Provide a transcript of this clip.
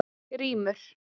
Grímur